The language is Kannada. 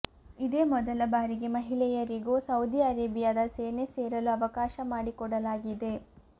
ಇದೇ ಮೊದಲ ಬಾರಿಗೆ ಮಹಿಳೆಯರಿಗೂ ಸೌದಿ ಅರೇಬಿಯಾದ ಸೇನೆ ಸೇರಲು ಅವಕಾಶ ಮಾಡಿಕೊಡಲಾಗಿದೆ